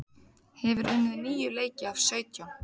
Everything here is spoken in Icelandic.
Hefur unnið níu leiki af sautján